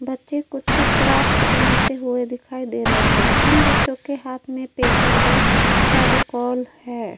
बच्चे कुछ क्राफ्ट बनाते हुए दिखाई दे रहे हैं। उन बच्चों के हाथ में पेपर व फेविकोल है।